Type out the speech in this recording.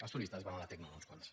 els turistes van a la teknon uns quants